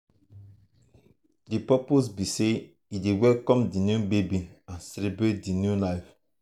di purpose be say e dey welcome di new baby and celebrate di new life.